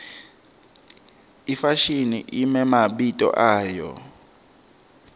ifashimi imemabito ayo